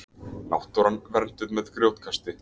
Náttúran vernduð með grjótkasti